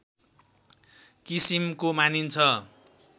किसिमको मानिन्छ